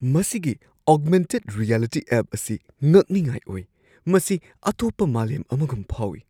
ꯃꯁꯤꯒꯤ augmented reality app ꯑꯁꯤ ꯉꯛꯅꯤꯡꯉꯥꯏ ꯑꯣꯏ꯫ ꯃꯁꯤ ꯑꯇꯣꯞꯄ ꯃꯥꯂꯦꯝ ꯑꯃꯒꯨꯝ ꯐꯥꯎꯏ꯫